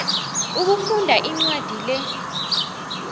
ukufunda incwadi le